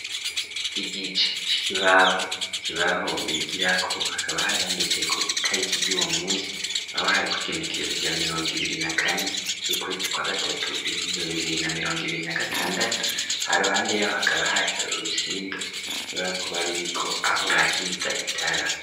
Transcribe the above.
Igice c'ikibaho, ikibaho bigira ko hakaba haryanditse ko itariki ry'uwo munsi aho hari ku igenekerezo rya mirongo ibiri na kane y'ukwete twa gatatu ibihumbi bibiri na mirongo ibiri na gatandatu ha ruhande y'aho hakaba hari hari urusinga nshobora kubar uriko aho bakita itara.